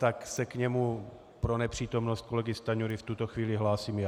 Tak se k němu pro nepřítomnost kolegy Stanjury v tuto chvíli hlásím já.